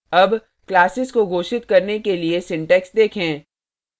अब classes को घोषित करने के लिए syntax देखें